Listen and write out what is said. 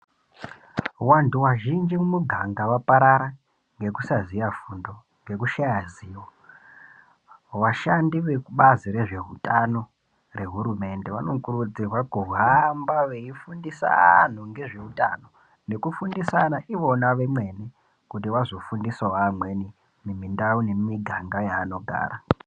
Vantu vazhinji mumu ganga vaparara ngekusaziya fundo ngekushaya zivo, vashandi vemubazi rezveutano rehurumende vanokurudzirwa kuhamba veifundisa antu ngezveutano nekufundisana ivona vemene kuti vazofundisawo vamweni mundau nemumiganga yanogara.